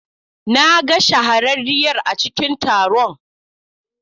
Na ga shahararriyar a cikin taron.